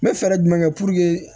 N bɛ fɛɛrɛ jumɛn kɛ